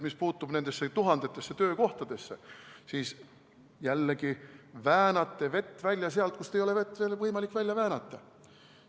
Mis puutub nendesse tuhandetesse töökohtadesse, siis jällegi väänate vett välja sealt, kust ei ole võimalik vett välja väänata.